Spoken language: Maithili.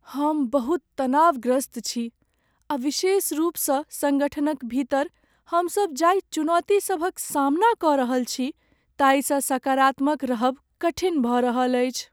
हम बहुत तनावग्रस्त छी आ विशेष रूपसँ सङ्गठनक भीतर हमसभ जाहि चुनौति सभक सामना कऽ रहल छी ताहिसँ सकारात्मक रहब कठिन भऽ रहल अछि।